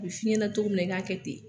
A b'i f'i ɲɛnɛ to min na i k'a kɛ ten